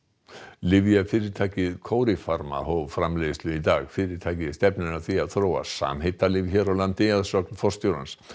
lyfjafyrirtækið Coripharma hóf framleiðslu sína í dag fyrirtækið stefnir að því að þróa samheitalyf hér á landi að sögn forstjórans